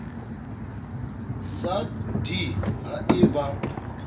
sa d ha e ba